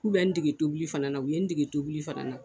K'u bɛ n degi tobili fana u ye n degi tobili fana na.